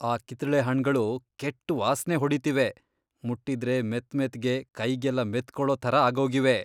ಆ ಕಿತ್ಳೆ ಹಣ್ಣ್ಗಳು ಕೆಟ್ಟ್ ವಾಸ್ನೆ ಹೊಡೀತಿವೆ.. ಮುಟ್ಟಿದ್ರೆ ಮೆತ್ಮೆತ್ಗೆ ಕೈಗೆಲ್ಲ ಮೆತ್ಕೊಳೋ ಥರ ಆಗೋಗಿವೆ.